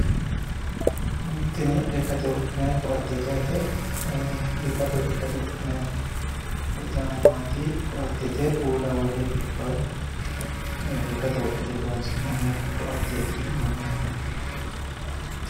Tini lekkate wodhinay ko'atteeti yaate. Ee biifado lekkate wodhinay caammaati ko'attete. Uulla worre biiffawo lekkate wodhinate horonsi'nanni ko'atteeti yineemmo yaate.